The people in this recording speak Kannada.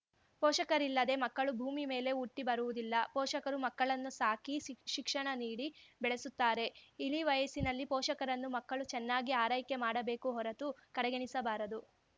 ಪೋಷಕರಿಲ್ಲದೆ ಮಕ್ಕಳು ಭೂಮಿ ಮೇಲೆ ಹುಟ್ಟಿಬರುವುದಿಲ್ಲ ಪೋಷಕರು ಮಕ್ಕಳನ್ನು ಸಾಕಿ ಸಿಖ್ ಶಿಕ್ಷಣ ನೀಡಿ ಬೆಳೆಸುತ್ತಾರೆ ಇಳಿವಯಸ್ಸಿನಲ್ಲಿ ಪೋಷಕರನ್ನು ಮಕ್ಕಳು ಚೆನ್ನಾಗಿ ಆರೈಕೆ ಮಾಡಬೇಕು ಹೊರತು ಕಡೆಗಣಿಸಬಾರದು